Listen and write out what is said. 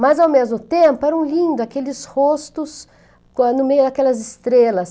Mas ao mesmo tempo eram lindo, aqueles rostos quan, no meio daquelas estrelas.